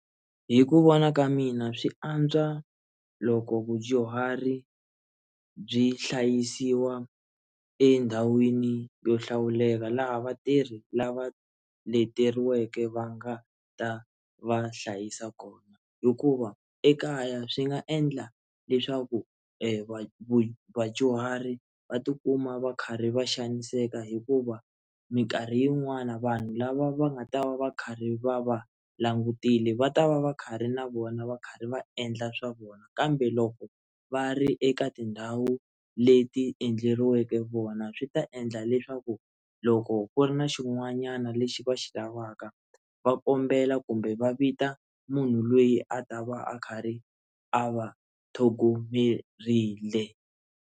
Hi ku vona ka mina swi antswa loko vadyuhari byi hlayisiwa endhawini yo hlawuleka laha vatirhi lava leteriweke va nga ta va hlayisa kona hikuva ekaya swi nga endla leswaku vanhu va vadyuhari va tikuma va karhi va xaniseka hikuva mikarhi yin'wani vanhu lava va nga ta va va karhi va va langutile va ta va va kha ri na vona va karhi va endla swa vona kambe loko va ri eka tindhawu leti endleriweke vona swi ta endla leswaku loko ku ri na xin'wanyana lexi va xi lavaka va kombela kumbe va vita munhu loyi a ta va a kha ri a va tlhogomerile.